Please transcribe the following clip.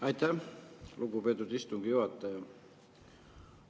Aitäh, lugupeetud istungi juhataja!